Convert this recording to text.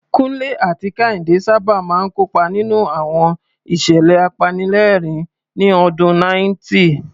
Kunle àti Kehinde sábà máa ń kópa nínú àwọn ìṣẹ̀lẹ̀ apanilẹ́rìn-ín ní ọdún 90.